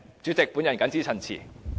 主席，我謹此陳辭。